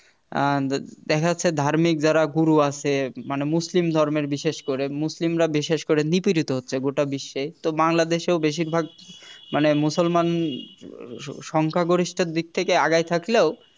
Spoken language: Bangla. আহ দেখা যাচ্ছে ধার্মিক যারা গুরু আছে মানে মুসলিম ধর্মের বিশেষ করে মুসলিমরা বিশেষ করে নিপীড়িত হচ্ছে গোটা বিশ্বে তো বাংলাদেশেও বেশিরভাগ মানে মুসলমান সংখ্যাগরিষ্ঠের দিক থেকে আগায় থাকলেও